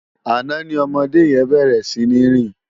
Àná ni òmòdé yèn bèrè sini rin